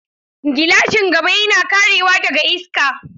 Gilashin gaba yana karewa daga iska.